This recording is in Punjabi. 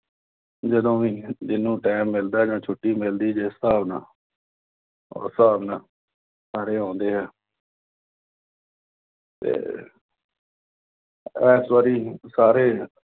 ਜਦੋਂ ਵੀ ਜੀਹਨੂੰ time ਮਿਲਦਾ ਗਾ। ਛੁੱਟੀ ਮਿਲਦੀ ਜੇ, ਹਿਸਾਬ ਨਾਲ ਉਸ ਹਿਸਾਬ ਨਾਲ, ਸਾਰੇ ਆਉਂਦੇ ਆ ਤੇ ਇਸ ਵਾਰੀ ਸਾਰੇ